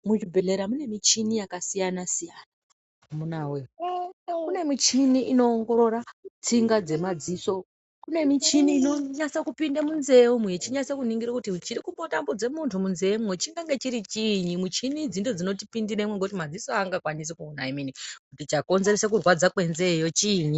Muzvibhehlera mune michini yakasiyanasiyana amuna woye kune michini inoongorore tsinga dzemadziso, kune michini inonase kupinde munzee umwu yechinase kuningira kuti chiri kumbotambidze muntu munzeemwo chinenge chiri chiinyi muchini idzi ndidzo dzinotipindiremwo ngekuti madziso angakwanisi kuona emene kuti chakonzeresa kuradzwa kwenzeeyo chiinyi.